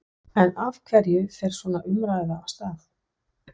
En af hverju fer svona umræða af stað?